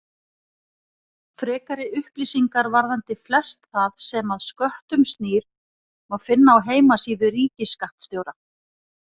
Frekari upplýsingar varðandi flest það sem að sköttum snýr má finna á heimasíðu ríkisskattstjóra.